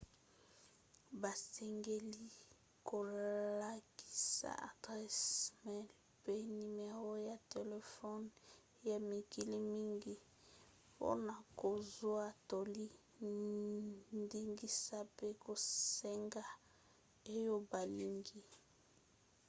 basengeli kolakisa adrese e-mail pe nimero ya telefone ya mikili mingi mpona kozwa toli/ndingisa pe kosenga oyo balingi